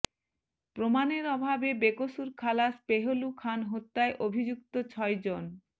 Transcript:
প্রমাণের অভাবে বেকসুর খালাস পেহলু খান হত্যায় অভিযুক্ত ছয়জন